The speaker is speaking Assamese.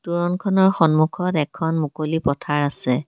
তোৰণখনৰ সন্মুখত এখন মুকলি পথাৰ আছে।